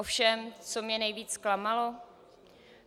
Ovšem co mě nejvíc zklamalo?